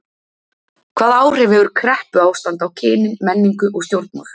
Hvaða áhrif hefur kreppuástand á kynin, menningu og stjórnmál?